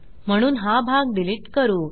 म्हणून हा भाग डिलिट करू